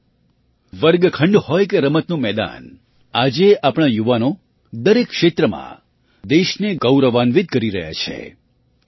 સાથીઓ વર્ગખંડ હોય કે રમતનું મેદાન આજે આપણા યુવાનો દરેક ક્ષેત્રમાં દેશને ગૌરવાન્વિત કરી રહ્યા છે